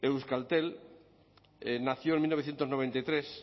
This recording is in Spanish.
euskaltel nació en mil novecientos noventa y tres